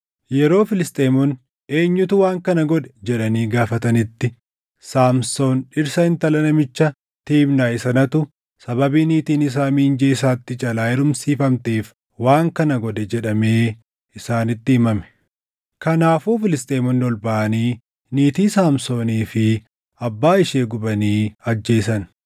Yeroo Filisxeemonni, “Eenyutu waan kana godhe?” jedhanii gaafatanitti, “Saamsoon dhirsa intala namicha Tiimnaahi sanaatu sababii niitiin isaa miinjee isaatti jalaa heerumsiifamteef waan kana godhe” jedhamee isaanitti himame. Kanaafuu Filisxeemonni ol baʼanii niitii Saamsoonii fi abbaa ishee gubanii ajjeesan.